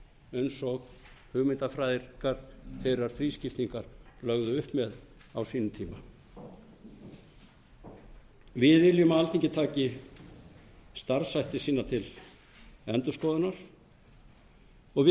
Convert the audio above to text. eins og hugmyndafræðingar þeirra þrískiptingar lögðu upp með á sínum tíma við viljum að alþingi taki starfshætti sína til endurskoðunar og við